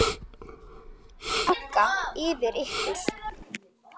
Megi Guð vaka yfir ykkur.